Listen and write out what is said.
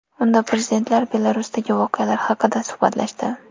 Unda prezidentlar Belarusdagi voqealar haqida suhbatlashdi.